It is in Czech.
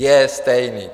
Je stejný.